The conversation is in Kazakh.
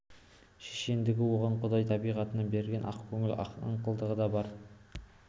шешендікті оған құдай табиғатынан берген ақкөңіл аңқылдақтығы да бар